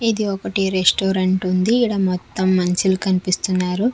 ఇది ఒకటి రెస్టోరెంట్ ఉంది ఈడ మొత్తం మనిషిలు కనిపిస్తున్నారు.